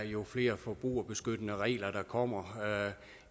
jo flere forbrugerbeskyttende regler der kommer